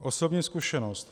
Osobní zkušenost.